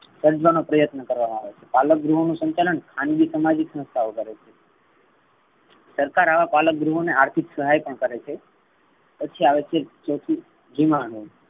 સર્જવા નો પ્રત્યન કરવામા આવે છે. પાલક ગૃહ નું સંચાલન ખાનગી સામાજિક સંસ્થાઓ કરે છે. સરકાર આવા પાલક ગૃહ ને આર્થિક સહાય પણ કરે છે. પછી આવે છે ચોથુ